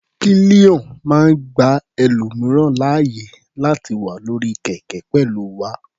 Pillion máa ń gba ẹlòmìíràn láàyè láti wà lórí kẹ̀kẹ́ pẹ̀lú wa.